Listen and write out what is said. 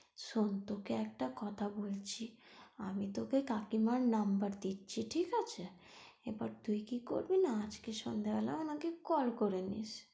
শোন তোকে একটা কথা বলছি আমি তোকে কাকিমার number দিচ্ছি ঠিক আছে? এবার তুই কি করবি না এবার আজকে সন্ধ্যা বেলা আমাকে call করে নিস।